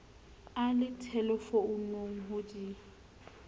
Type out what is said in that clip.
a le thelefounung ho di